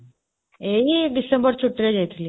ଏଇ december ଛୁଟିରେ ଯାଇଥିଲି